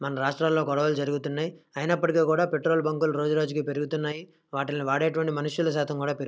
మన రాష్ట్రలో గొడవలు జరుగుతున్నాయి ఐనప్పటి కూడా పెట్రోల్ బంక్ రోజు రోజు కి పెరుగుతున్నాయి వాటిల్ని వాడేంటివి మనుషులు సాతం కూడ పెరుగుతున్నారు --